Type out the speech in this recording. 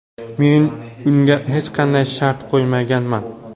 Men unga hech qanday shart qo‘ymaganman.